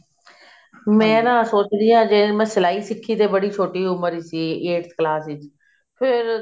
ਮੈਂ ਨਾ ਸੋਚ ਰਹੀ ਹਾਂ ਜੇ ਮੈਂ ਸਲਾਈ ਸਿੱਖੀ ਤੇ ਬੜੀ ਛੋਟੀ ਉਮਰ ਸੀ eighth class ਚ ਫ਼ੇਰ